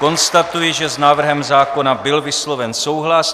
Konstatuji, že s návrhem zákona byl vysloven souhlas.